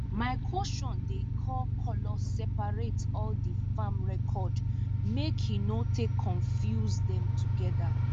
my cousion dey carry colour sepaerate all di farm record make he no take confuse dem togeda